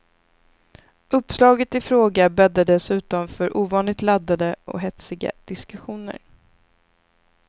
Uppslaget i fråga bäddar dessutom för ovanligt laddade och hetsiga diskussioner.